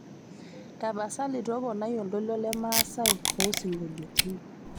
tapasali toponai oltoilo lemasaai oosingoliotin